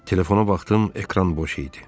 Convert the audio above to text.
Telefona baxdım, ekran boş idi.